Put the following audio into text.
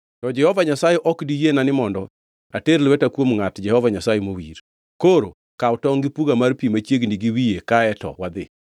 To Jehova Nyasaye ok diyiena ni mondo ater lweta kuom ngʼat Jehova Nyasaye mowir. Koro kaw tongʼ gi puga mar pi machiegni gi wiye kaeto wadhi.”